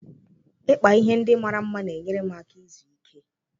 Ịkpa ihe ndị mara mma na-enyere m aka izu ike.